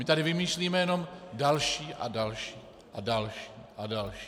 My tady vymýšlíme jen další a další a další a další...